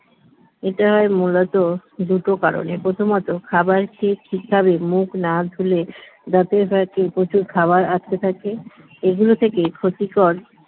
এটা হয় মূলত দুটো কারণে প্রথমত খাবার খেয়ে ঠিকভাবে মুখ না ধুলে দাঁতে হয়তো প্রচুর খাবার আটকে থাকে এগুলো থেকে ক্ষতিকর